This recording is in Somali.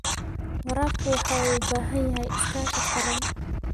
Waraabku waxa uu u baahan yahay iskaashi qaran.